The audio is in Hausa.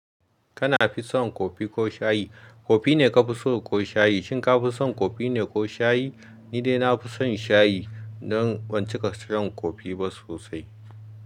Kana fi son kofi ko shayi? Kofi ne ka fi so ko shayi? Shin ka fi son kofi ne ko shayi? Ni dai na fi son shayi dan ban cika son kofi ba sosai.